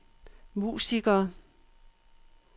musikere